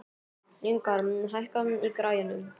Lyngar, hækkaðu í græjunum.